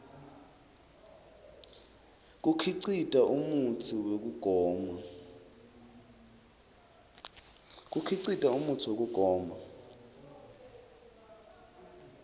kukhicita umutsi wekugoma